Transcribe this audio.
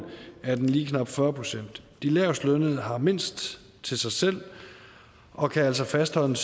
er den lige knap fyrre procent de lavestlønnede har mindst til sig selv og kan altså fastholde